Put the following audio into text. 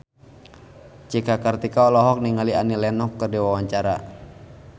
Cika Kartika olohok ningali Annie Lenox keur diwawancara